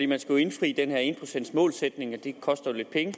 man skal jo indfri den her en procents målsætning og det koster lidt penge